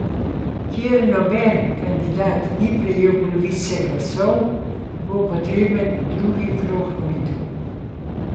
Ker noben kandidat ni prejel polovice glasov, bo potreben drugi krog volitev.